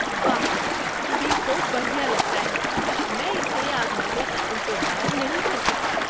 واہ، یہ تو بڑھیا لگتا ہے! میں اسے آزمانے کا انتظار نہیں کر سکتا۔